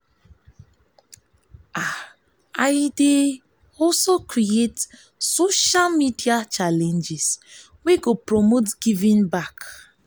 i dey create social media challenges wey go promote giving back.